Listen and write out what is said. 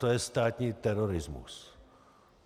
To je státní terorismus!